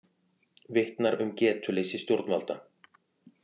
Vitnar um getuleysi stjórnvalda